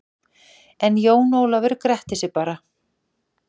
En Jón Ólafur gretti sig bara.